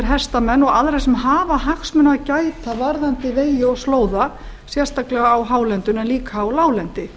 hestamenn og aðra sem hafa hagsmuna að gæta varðandi vegi og slóða sérstaklega á hálendinu en líka á láglendi